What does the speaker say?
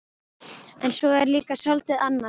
En svo er líka soldið annað.